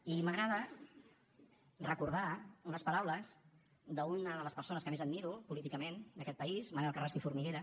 i m’agrada recordar unes paraules d’una de les persones que més admiro políticament d’aquest país manel carrasco i formiguera